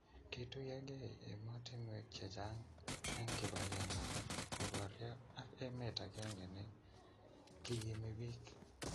kituyegei emotinwek che chang' eng' kibagenge kuboryo ak emet agenge ne kiimi biik